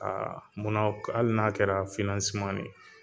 munna hali n'a kɛra ne ye